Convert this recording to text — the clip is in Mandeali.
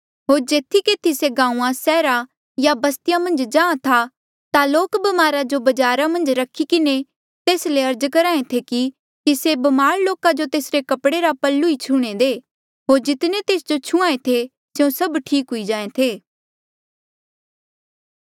होर जेथी केथी से गांऊँआं सैहरा या बस्तिया मन्झ जाहाँ था ता लोक ब्मारा जो बजारा मन्झ रखी किन्हें तेस ले अर्ज करहा ऐें थे कि से ब्मार लोका जो तेसरे कपड़े रा पल्लू ई छूह्णे दे होर जितने तेस जो छुहां ऐें थे स्यों सब ठीक हुई जाहें थे